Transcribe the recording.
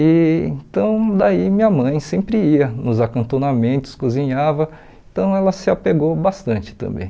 E então, daí minha mãe sempre ia nos acantonamentos, cozinhava, então ela se apegou bastante também.